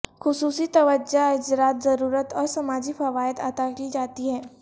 خصوصی توجہ اجرت ضرورت اور سماجی فوائد عطا کی جاتی ہے